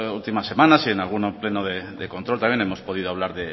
últimas semanas en algún pleno de control también hemos podido hablar